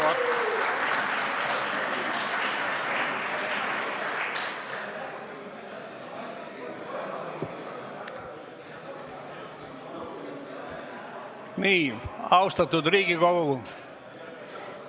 Lugupeetud Riigikogu!